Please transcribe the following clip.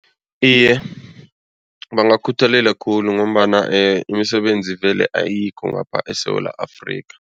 Iye, bangakhuthalela khulu ngombana imisebenzi vele ayikho ngapha eSewula Afrika.